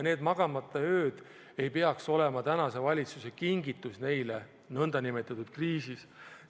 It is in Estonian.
Need magamata ööd ei peaks olema tänase valitsuse kingitus neile nn kriisi ajal.